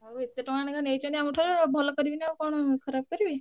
ଆଉ ଏତେ ଟଙ୍କା ଲେଖା ନେଇଛନ୍ତି ଆମଠାରୁ ଆଉ ଭଲ କରିବେନି ଆଉ କଣ ଖରାପ କରିବେ।